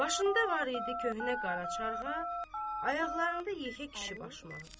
Başında var idi köhnə qara çarğat, ayaqlarında yekə kişi başmağı.